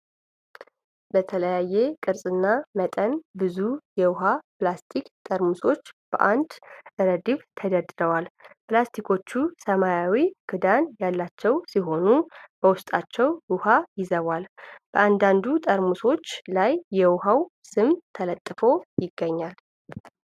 በተለያየ ቅርጽና መጠን ብዙ የውሃ ፕላስቲክ ጠርሙሶች በአንድ ረድፍ ተደርድረዋል፡፡ ፕላስቲኮቹ ሰማያዊ ክዳን ያላቸው ሲሆኑ በውስጣቸው ውሃ ይዘዋል፡፡ በአንዳንድ ጠርሙሶች ላይ የውሃው ስም ተለጥፎ ይገኛል፡፡